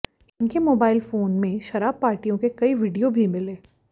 इनके mobile phone में शराब पार्टियों के कई वीडियो भी मिले